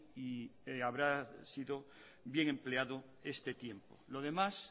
y habrá sido bien empleado este tiempo lo demás